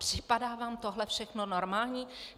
Připadá vám tohle všechno normální?